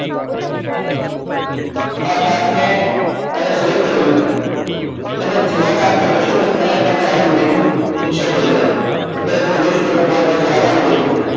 આ chart ને હવે select કરી લો તમે જે આ chart પર જશો તો અહિયાં તમને અલગ menu insert થઈ ગયેલા જોવો અત્યારે તમે જોય શકો છો મારુ cursor આ બાજુ લઈ જાવ છું